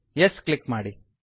Yes click ಮಾಡಿ